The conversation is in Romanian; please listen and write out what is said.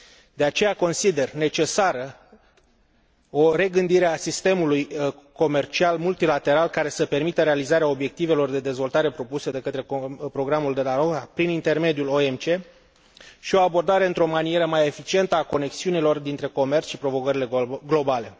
De aceea, consider necesară o regândire a sistemului comercial multilateral, care să permită realizarea obiectivelor de dezvoltare propuse de către programul de la Doha prin intermediul OMC și o abordare într o manieră mai eficientă a conexiunilor dintre comerț și provocările globale.